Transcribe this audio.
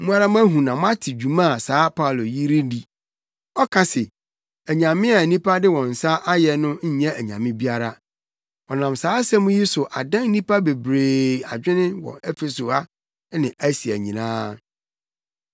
Mo ara moahu na moate dwuma a saa Paulo yi redi. Ɔka se anyame a nnipa de wɔn nsa ayɛ no nyɛ anyame biara. Ɔnam saa asɛm yi so adan nnipa bebree adwene wɔ Efeso ha ne Asia nyinaa.